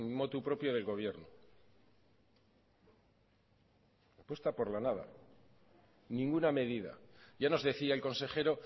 motu propio del gobierno apuesta por la nada ninguna medida ya nos decía el consejero